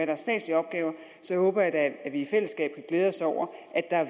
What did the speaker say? så håber jeg da at vi i fællesskab kan glæde os over